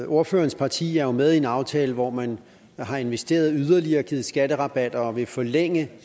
ordførerens parti er jo med i en aftale hvor man har investeret yderligere givet skatterabatter og vil forlænge